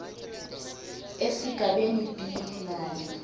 esigabeni b nale